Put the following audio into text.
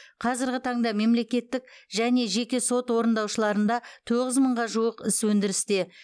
қазіргі таңда мемлекеттік және жеке сот орындаушыларында тоғыз мыңға жуық іс өндірісте